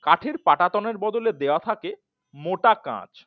কাঠের পাটাতন বদলে দেওয়া থাকে মোটা কাচ